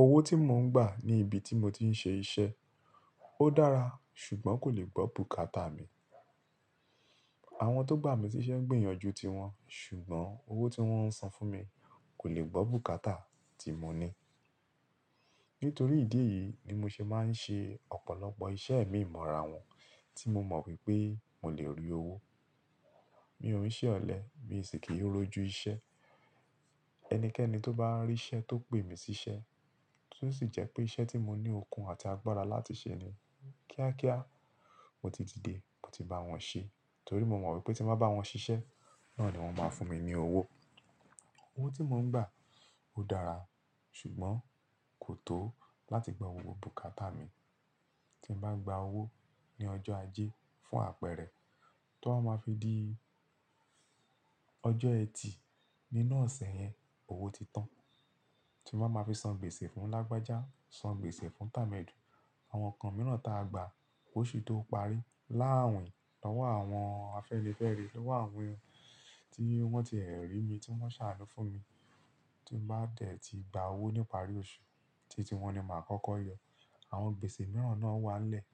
Owó tí mò ń gbà ní ibi tí mo ti ń ṣe iṣẹ́, ó dára ṣùgbọ́n kò le gbọ́ bùkátà mi. Àwọn tó gbà mí síṣẹ́ gbìyànjú ti wọn ṣùgbọ́n owó tí wón ń san fún mi kò le gbọ́ bùkátà tí mo ní. Nítorí ìdí èyí ni mo ṣe máa ń ṣe ọ̀pọ̀lọpọ̀ iṣẹ́ mi mo ra won tí mo mọ̀ wípé mo lè rí owó. Mi ò ń ṣẹ ọ̀lẹ, mi sì kì í rójú iṣẹ́. Ẹnikẹ́ni tó bá rí ṣẹ tó pè mí síṣẹ́ tí ó sì jẹ́ pé iṣẹ́ tí mo ní okun àti agbára láti ṣe ni, kíákíá mo ti di dé, mo ti bá wọn ṣe. Nítorí mo mọ̀ wípé tí mo bá bá wọn ṣiṣẹ́, náà ni wọn máa fún mi ní owó. Owó tí mò ń gbà ó dára ṣùgbọ́n kò tó láti gbọ́ owó bùkátà mi. Tí mo bá gba owó ní ọjọ́ ajé fún àpẹẹrẹ, tí wọ́n máa fi di ọjọ́ ẹtì, nínu ose yẹn owó ti tán. Tí mo bá fi san gbèsè fún lágbájá, san gbèsè fún tàmẹ́du, àwọn nǹkan mìíràn ta gba, kóṣu tó parí. Láàwin, lọ́wọ́ àwọn afẹ́nifẹ́re, lọ́wọ́ àwọn tí wọ́n ti ẹ̀ rí mi, tí wọ́n ṣàánú fún mi, tí mo bá tẹ̀ ti gba owó nípàrí oṣù, títí wọn ni màá kọ́kọ́ yọ. Àwọn gbèsè mìíràn náà wá n lẹ́ẹ̀.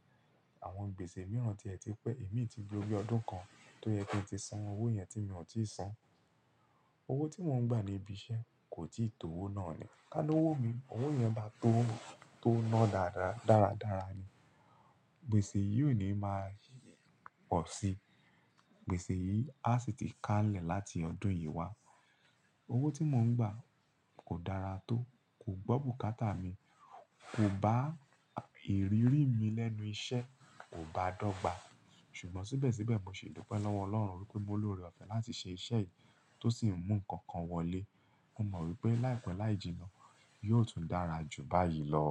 Àwọn gbèsè mìíràn tí ẹ ti pẹ́, èmi ti lo bi ọdún kan tó yẹ kí n ti san owó yẹn tí mi ò tíì san. Owó tí mò ń gbà ní ibi iṣẹ́ kò tíì tó owó náà rí. Ká ló wò mí, owó yẹn bá tó, tó ná dára dáradára ni, gbèsè yìí ò ní máa pọ̀ síì. Gbèsè yìí á sì ti ká lẹ̀ láti ọdún yìí wá. Owó tí mò ń gbà kò dára tó, kò gbọ́ bùkátà mi, kò bá ìrírí mi lẹ́nu iṣẹ́, kò bá dọ́gba. Ṣùgbọ́n síbẹ̀síbẹ̀ mosi dupé lọ́wọ́ Ọlọ́run wípé mo lóre ọ̀fẹ́ láti ṣe iṣẹ́ yìí tó sì ń mú nǹkan kan wọlé. Mo mọ̀ wípé láìpẹ́ láì jìnnà, yóò tún dára jù báyìí lọ.